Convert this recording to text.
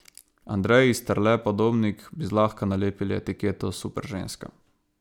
Andreji Sterle Podobnik bi zlahka nalepili etiketo superženska.